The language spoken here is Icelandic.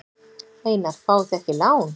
Einar: Fáið þið ekki lán?